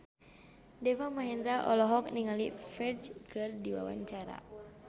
Deva Mahendra olohok ningali Ferdge keur diwawancara